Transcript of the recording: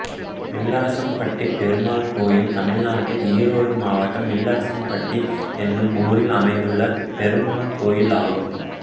வில்லரசம்பட்டி பெருமாள் கோயில் தமிழ்நாட்டில் ஈரோடு மாவட்டம் வில்லரசம்பட்டி என்னும் ஊரில் அமைந்துள்ள பெருமாள் கோயிலாகும்